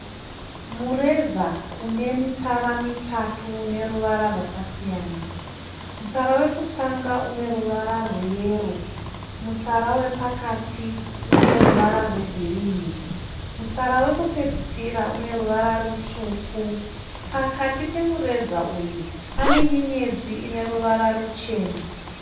Mureza une mitsara mitatu une ruvara rwakasiyana. Mutsara wekutanga une ruvara rweyero, mutsara wepakati une ruvara rwegirini, mutsara wekupedzisira une ruvara rutsvuku. Pakati pemureza uyu pane nyenyeredzi ine ruvara ruchena.